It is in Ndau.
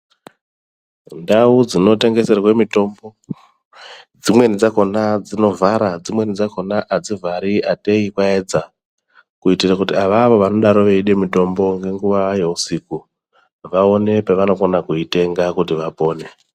Ndau dzinotengeserwa mitombo dzimweni dzakona dzinovhara dzimweni dzakona adzivhari atei kwaedza kuitira kuti ivavavo vanodai veida mitombo nenguva dzeusiku vaone kutenga vapone .